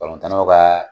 ka